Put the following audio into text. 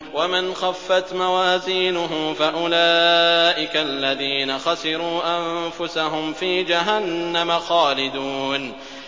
وَمَنْ خَفَّتْ مَوَازِينُهُ فَأُولَٰئِكَ الَّذِينَ خَسِرُوا أَنفُسَهُمْ فِي جَهَنَّمَ خَالِدُونَ